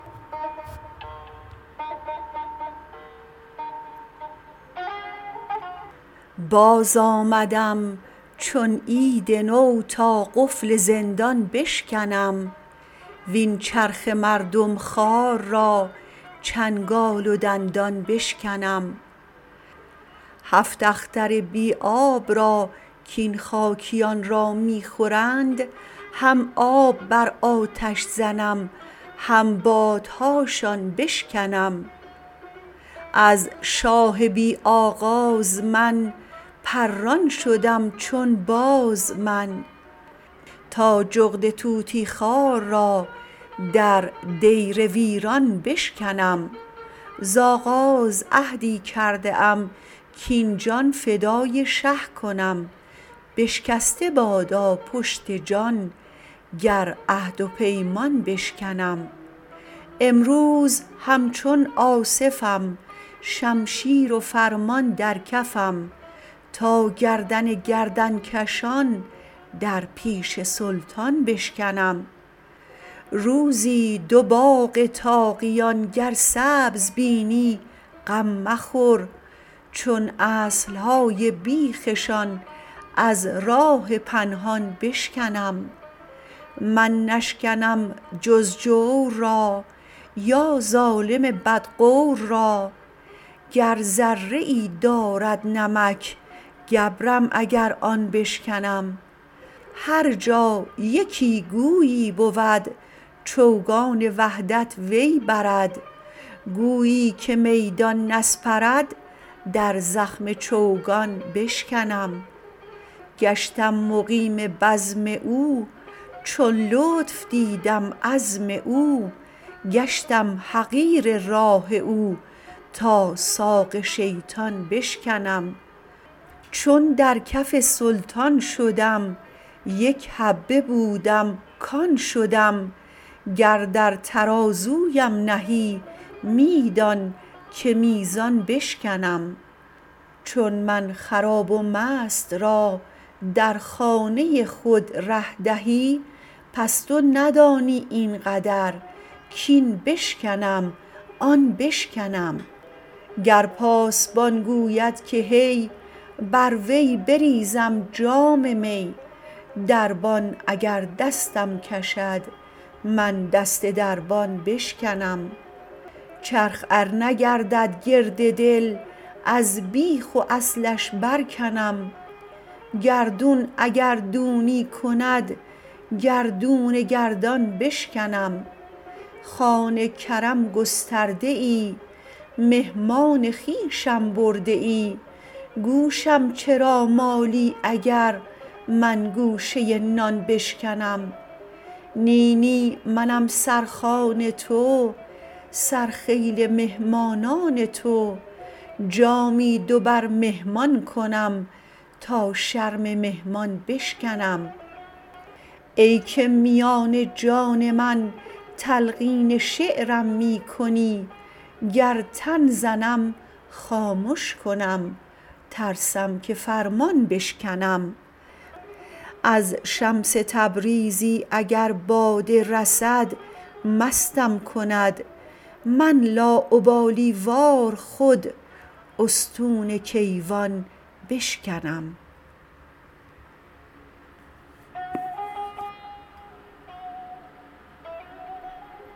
باز آمدم چون عید نو تا قفل زندان بشکنم وین چرخ مردم خوار را چنگال و دندان بشکنم هفت اختر بی آب را کین خاکیان را می خورند هم آب بر آتش زنم هم بادهاشان بشکنم از شاه بی آغاز من پران شدم چون باز من تا جغد طوطی خوار را در دیر ویران بشکنم زآغاز عهدی کرده ام کاین جان فدای شه کنم بشکسته بادا پشت جان گر عهد و پیمان بشکنم امروز همچون آصفم شمشیر و فرمان در کفم تا گردن گردن کشان در پیش سلطان بشکنم روزی دو باغ طاغیان گر سبز بینی غم مخور چون اصل های بیخ شان از راه پنهان بشکنم من نشکنم جز جور را یا ظالم بدغور را گر ذره ای دارد نمک گبرم اگر آن بشکنم هر جا یکی گویی بود چوگان وحدت وی برد گویی که میدان نسپرد در زخم چوگان بشکنم گشتم مقیم بزم او چون لطف دیدم عزم او گشتم حقیر راه او تا ساق شیطان بشکنم چون در کف سلطان شدم یک حبه بودم کان شدم گر در ترازویم نهی می دان که میزان بشکنم چون من خراب و مست را در خانه خود ره دهی پس تو ندانی این قدر کاین بشکنم آن بشکنم گر پاسبان گوید که هی بر وی بریزم جام می دربان اگر دستم کشد من دست دربان بشکنم چرخ ار نگردد گرد دل از بیخ و اصلش برکنم گردون اگر دونی کند گردون گردان بشکنم خوان کرم گسترده ای مهمان خویشم برده ای گوشم چرا مالی اگر من گوشه نان بشکنم نی نی منم سرخوان تو سرخیل مهمانان تو جامی دو بر مهمان کنم تا شرم مهمان بشکنم ای که میان جان من تلقین شعرم می کنی گر تن زنم خامش کنم ترسم که فرمان بشکنم از شمس تبریزی اگر باده رسد مستم کند من لاابالی وار خود استون کیوان بشکنم